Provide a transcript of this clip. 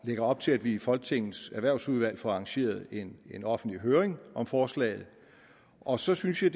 og lægger op til at vi i folketingets erhvervsudvalg får arrangeret en en offentlig høring om forslaget og så synes jeg